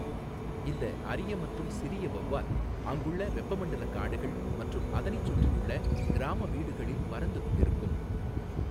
இந்த அரிய மற்றும் சிறிய வெளவால் அங்குள்ள வெப்பமண்டல காடுகள் மற்றும் அதனைச் சுற்றியுள்ள கிராம வீடுகளில் பறந்து கொண்டிருக்கும்.